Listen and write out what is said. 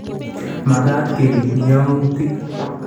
Makaat keriib yawuutk